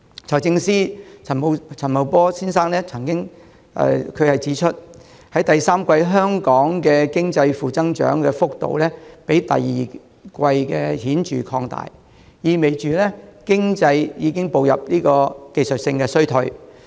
財政司司長陳茂波先生曾經指出，香港經濟在第三季的負增長幅度，較第二季顯著擴大，意味着經濟已步入技術性衰退。